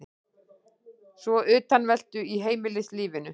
Svo utanveltu í heimilislífinu.